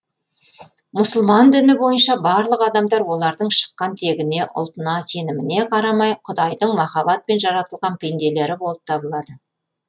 мұсылман діні бойынша барлық адамдар олардың шыққан тегіне ұлтына сеніміне қарамай құдайдың махаббатпен жаратылған пенделері болып табылады